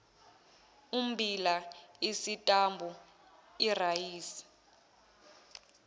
ummbila isitambu irayisi